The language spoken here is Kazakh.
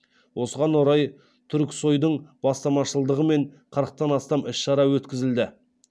осыған орай түрксой дың бастамашылығымен қырықтан астам іс шара өткізілді